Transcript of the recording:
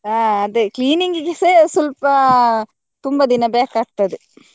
ಹ ಅದೆ cleaning ಗೆಸ ಸ್ವಲ್ಪ ತುಂಬ ದಿನ ಬೇಕಾಗ್ತದೆ.